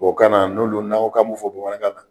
Tubabukan na n'olu n'an ko k'an b'olu fɔ bamanankan na